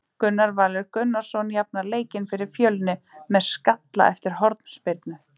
Gunnar Valur Gunnarsson jafnar leikinn fyrir Fjölni með skalla eftir hornspyrnu.